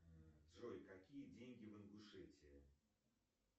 джой какие деньги в ингушетии